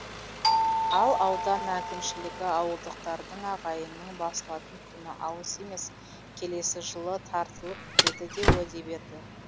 ал аудан әкімшілігі ауылдықтардың ағайынның басылатын күні алыс емес келесі жылы тартылып бітеді деп уәде берді